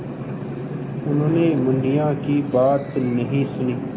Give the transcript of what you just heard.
उन्होंने मुनिया की बात नहीं सुनी